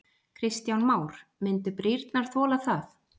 Kristján Már: Myndu brýrnar þola það?